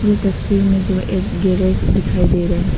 ये तस्वीर में जो एक गैरेज दिखाई दे रहा है।